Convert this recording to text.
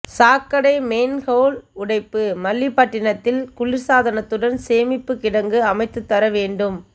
சாக்கடை மேன்ஹோல் உடைப்பு மல்லிப்பட்டினத்தில் குளிர்சாதனத்துடன் சேமிப்பு கிடங்கு அமைத்துத்தர வேண்டும்